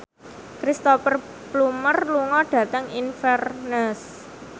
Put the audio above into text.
Cristhoper Plumer lunga dhateng Inverness